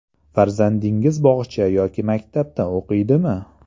Farzandingiz bog‘cha yoki maktabda o‘qiydimi?